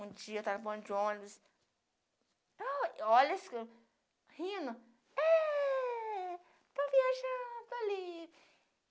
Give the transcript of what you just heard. Um dia eu estou no ponto de ônibus, olha esse rindo, eh.... Está viajando ali.